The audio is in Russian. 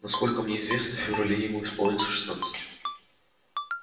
насколько мне известно в феврале ему исполнится шестнадцать